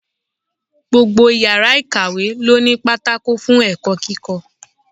Gbogbo yàrá ìkàwé ló ní pátákó fún ẹ̀kọ́ kíkọ́.